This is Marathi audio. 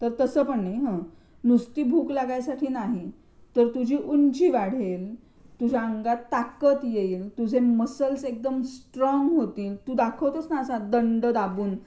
तर तसं पण नाही हं, नुसती भूक लागण्यासाठी नाही तर तुझी उंची वाढेल तुझ्या अंगात ताकद देईल तुझ्या मसल्स एकदम स्ट्रॉंग होतील. तू असा दाखवतोस ना असा दंड दाबून.